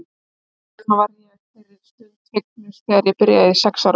Þess vegna varð ég þeirri stund fegnust þegar ég byrjaði í sex ára bekk.